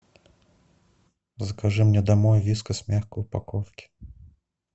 закажи мне домой вискас в мягкой упаковке